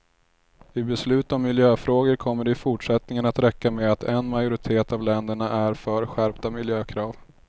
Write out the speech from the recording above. I beslut om miljöfrågor kommer det i fortsättningen att räcka med att en majoritet av länderna är för skärpta miljökrav.